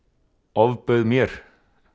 ofbauð mér